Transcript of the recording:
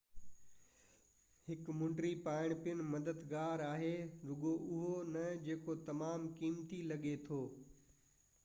هڪ مُنڊي پائڻ پڻ مددگار آهي رڳو اهو نه جيڪو تمام قيمتي لڳي ٿي